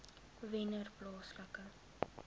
wennerplaaslike